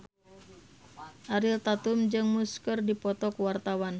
Ariel Tatum jeung Muse keur dipoto ku wartawan